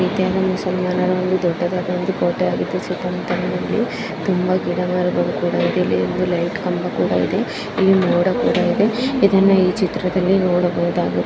ಮಸೀದಿಯಲ್ಲಿ ಒಂದು ದೊಡ್ಡದಾದ ಒಂದು ಕೋಟೆಯಾಗಿದ್ದು ಸುತ್ತಮುತ್ತಲಿನಲ್ಲಿ ತುಂಬಾ ಗಿಡಮರಗಳು ಕೂಡ ಇದೆ ಇದರಲ್ಲಿ ಲೈಟ್ ಕಂಬ ಕೂಡ ಇದೆ .]